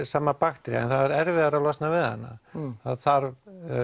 sama bakterían það er erfiðara að losna við hana það þarf